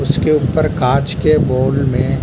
उसके ऊपर कांच के बाउल मे --